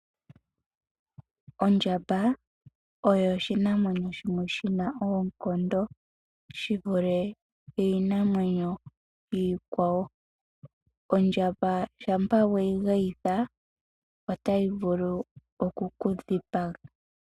Ondjamba oyo oshinamwenyo shimwe shina oonkondo shivule iinamwenyo iikwawo. Ondjamba shampa weyi geyitha otayi vulu okukudhipaga.